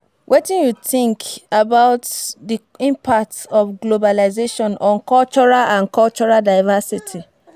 Wetin you think about di impact of globalization on cultural on cultural divcersity?